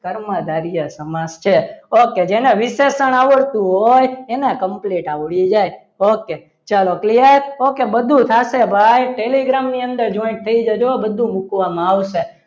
કર્મધારય સમાસ છે ઓકે જેને વિશેષણ આવડતું હોય એને Complete આવડી જાય okay ચાલો clear okay બધું સાથે ભાઈ telegram ની અંદર joint થઇ જજો બધું મૂકવામાં આવશે.